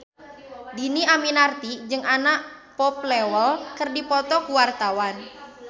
Dhini Aminarti jeung Anna Popplewell keur dipoto ku wartawan